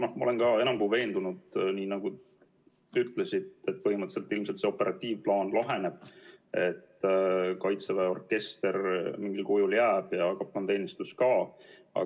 Aga ma olen ka enam kui veendunud, nii nagu te ütlesite, et põhimõtteliselt see operatiivplaan ilmselt laheneb, kaitseväe orkester mingil kujul jääb ja kaplanteenistus ka.